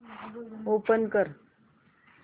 open कर